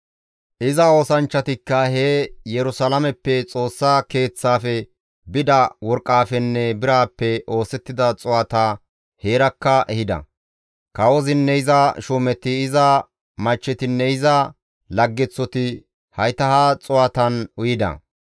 Iza oosanchchatikka he Yerusalaameppe Xoossa Keeththafe bida worqqafenne birappe oosettida xuu7ata heerakka ehida; kawozinne iza shuumeti, iza machchetinne iza laggeththoti hayta ha xuu7atan uyida.